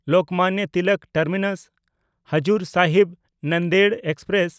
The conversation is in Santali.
ᱞᱳᱠᱢᱟᱱᱱᱚ ᱛᱤᱞᱚᱠ ᱴᱟᱨᱢᱤᱱᱟᱥ–ᱦᱟᱡᱩᱨ ᱥᱟᱦᱤᱵ ᱱᱟᱱᱫᱮᱲ ᱮᱠᱥᱯᱨᱮᱥ